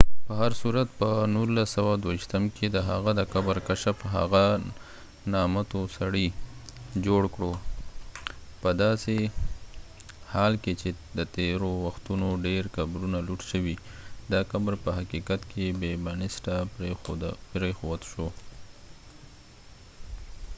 په هرصورت، په ۱۹۲۲ کې د هغه د قبر کشف هغه نامتو سړى جوړ کړو. پداسې حال کې چې د تیرو وختونو ډیر قبرونه لوټ شوي، دا قبر په حقیقت کې بې بنسټه پريښود شو